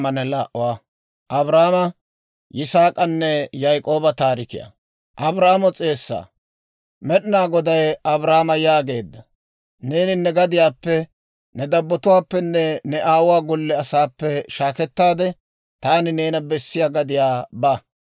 Med'inaa Goday Abraama yaageedda; «Neeni ne gadiyaappe, ne dabbotuwaappenne ne aawuwaa golle asaappe shaakettaade, taani neena bessiyaa gadiyaa ba.